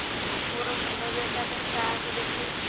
ମୋର ମୁଣ୍ଡ ବ୍ୟଥା ପାଇଁ କାହାକୁ ଦେଖେଇବି